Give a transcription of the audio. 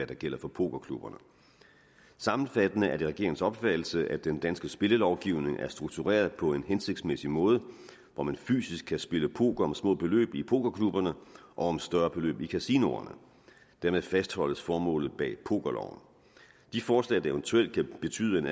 der gælder for pokerklubberne sammenfattende er det regeringens opfattelse at den danske spillelovgivning er struktureret på en hensigtsmæssig måde hvor man fysisk kan spille poker om små beløb i pokerklubberne og om større beløb i kasinoerne dermed fastholdes formålet bag pokerloven de forslag der eventuelt kan betyde en